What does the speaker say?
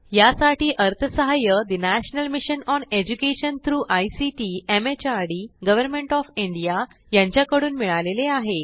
यासाठी अर्थसहाय्य national mission on education through ICT MHRD government of India यांच्याकडून मिळालेले आहे